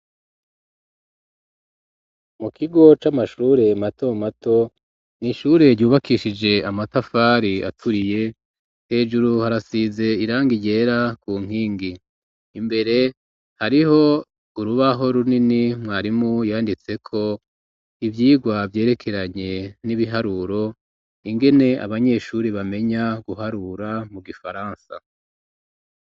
Mu kigo c'amashure mato mato n'ishure ryubakishije amatafari aturiye hejuru harasize irangi ryera ku nkingi imbere hariho urubaho runini mwarimu yanditse ko ivyigwa vyerekeranye n'ibiharuro ingene abanyeshuri bamenya guharura mu gifaransa.